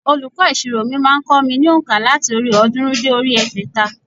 Olùkọ́ ìsirò mi má a n kó mi ní ònkà láti orí òódúnrún dé orí egbèta